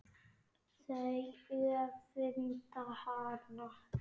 Þau öfunda hana.